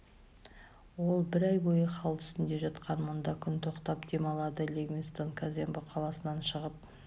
ол бір ай бойы хал үстінде жатқан мұнда күн тоқтап дем алады ливингстон казембо қаласынан шығып